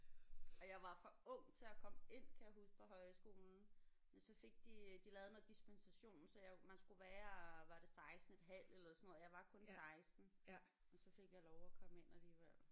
Og jeg var for ung til at komme ind kan jeg huske på højskolen. Men så fik de øh de lavede noget dispensation så jeg man skulle være var det16,5 eller sådan noget og jeg var kun 16. Men så fik jeg lov at komme ind alligevel